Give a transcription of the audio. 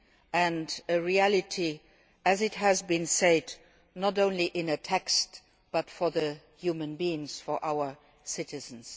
and a reality as has been said not only in a text but for human beings, for our citizens.